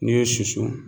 N'i ye susu